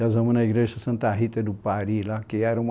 Casamos na igreja Santa Rita do Pari lá, que era uma